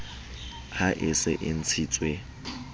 ha e se e ntshitswe